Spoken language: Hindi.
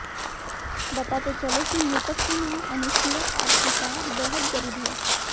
बताते चले कि मृतक की मां अनुसुइया और पिता बेहद गरीब है